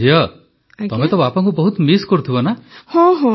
କିନ୍ତୁ ଝିଅ ତମେ ତ ବାପାଙ୍କୁ ବହୁତ ମିସ୍ କରୁଥିବ ନା